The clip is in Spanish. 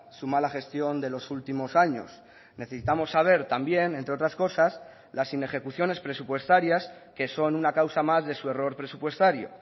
su mala gestión de los últimos años necesitamos saber también entre otras cosas las inejecuciones presupuestarias que son una causa más de su error presupuestario